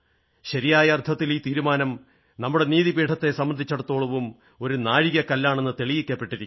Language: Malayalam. ശരിയായ അർഥത്തിൽ ഈ തീരുമാനം നമ്മുടെ നീതിപീഠത്തെ സംബന്ധിച്ചിടത്തോളവും ഒരു നാഴികക്കല്ലാണെന്ന് തെളിയിക്കപ്പെട്ടിരിക്കുന്നു